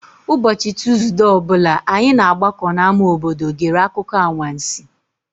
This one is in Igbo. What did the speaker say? Ụbọchị Tuuzdee ọ bụla, anyị na-agbakọ n'ámá obodo gere akụkọ anwansi.